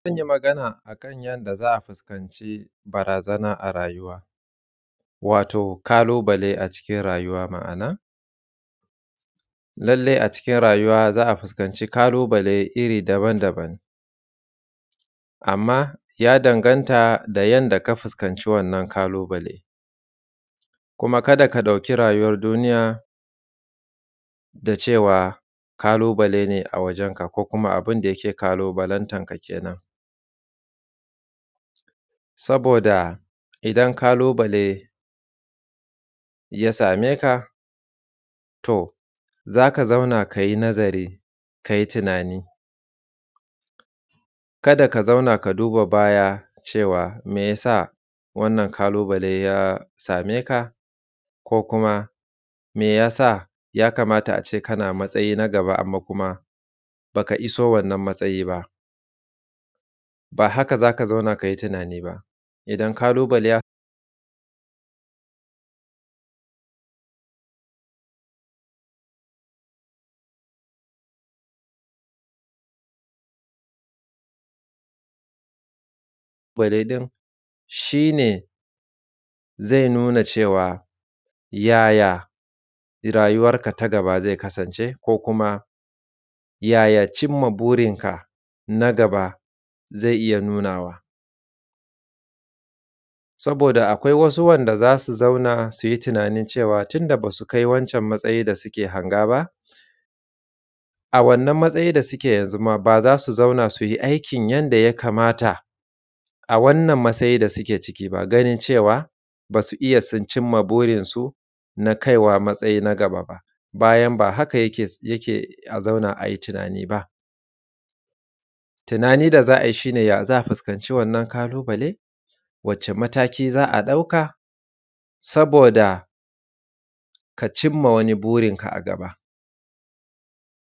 Zan yi Magana akan yadda za a fuskanci barazana a rayuwa, wato kalubale a cikin rayuwa ma’ana, lallai a cikin rayuwa za a fuskanci kalubale iri daban-daban amma ya danganta da yadda ka fuskanci kalubale kuma kada ka ɗauki rayuwar duniya da cewa kalubale a wajen ka ko kuma abun da yake kalubalantan ka kenan, saboda idan kalubale ya same ka to zaka zauna kayi nazari kayi tunani, kada ka zauna ka duba baya cewa me yasa wannan kalubale ya same ka ko kuma me yasa ya kamata ace kana matsayi na daban amma kuma baka iso wannan matsayi ba, ba haka zaka zauna kayi tunani ba, kalubale din shi ne zai nuna cewa yaya rayuwar ka ta gaba zai kasance ko kuma yaya cin ma burinka na gaba zai iya nunawa saboda akwai wasu wanda zasu zauna suyi tunanin cewa tunda basu kai wancan matsayin da suke hanga ba, a wannan matsayin da suke yanzu ma baza su zauna suyi aikin yadda ya kamata a wannan matsayi da suke ciki ba, ganin cewa basu iya sun cimma burinsu na kaiwa matsayi daban ba bayan ba haka yake a zauna ayi tunani ba, tunani da za a yi shi ne yaya za a fuskanci wannan kalubale, wacce mataki za a ɗauka saboda ka cimma wani burinka a gaba.